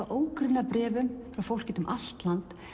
ógrynni af bréfum frá fólki út um allt land